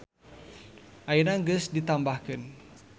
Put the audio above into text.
Ayeuna geus ditambahkeun.